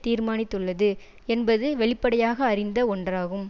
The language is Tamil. தீர்மானித்துள்ளது என்பது வெளிப்படையாக அறிந்த ஒன்றாகும்